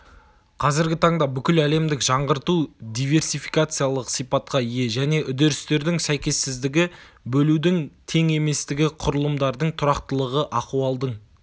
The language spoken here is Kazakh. қазіргі таңда бүкіл әлемдік жаңғырту диверсификациялық сипатқа ие және үдерістердің сәйкессіздігі бөлудің тең еместігі құрылымдардың тұрақтылығы ахуалдың